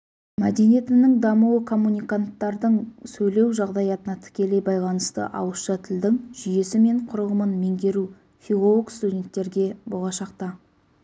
мәдениетінің дамуы коммуниканттардың сөйлеу жағдаятына тікелей байланысты ауызша тілдің жүйесі мен құрылымын меңгеру филолог-студенттерге болашақта